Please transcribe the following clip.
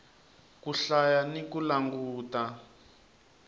ku hlaya ni ku languta